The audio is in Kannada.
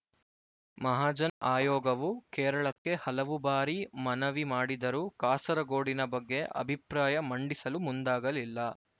ಮಹಾಜನ್ ಆಯೋಗವು ಕೇರಳಕ್ಕೆ ಹಲವು ಬಾರಿ ಮನವಿ ಮಾಡಿದರೂ ಕಾಸರಗೋಡಿನ ಬಗ್ಗೆ ಅಭಿಪ್ರಾಯ ಮಂಡಿಸಲು ಮುಂದಾಗಲಿಲ್ಲ